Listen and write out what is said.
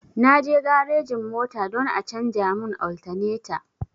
Na je garejin mota don a canja mu altaneta